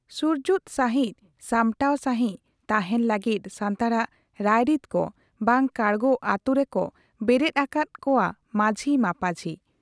ᱥᱩᱨᱡᱩᱛ ᱥᱟᱺᱦᱤᱡ ᱥᱟᱢᱴᱟᱣ ᱥᱟᱺᱦᱤᱡ ᱛᱟᱦᱮᱸᱱ ᱞᱟᱹᱜᱤᱫ ᱥᱟᱱᱛᱟᱲᱟᱜ ᱨᱟᱭᱨᱤᱛ ᱠᱚ ᱵᱟᱝ ᱠᱟᱲᱜᱚ ᱟᱹᱛᱩ ᱨᱮᱠᱚ ᱵᱮᱨᱮᱫ ᱟᱠᱟᱫ ᱠᱚᱣᱟ ᱢᱟᱹᱡᱷᱤ ᱢᱟᱹᱯᱟᱹᱡᱷᱤ ᱾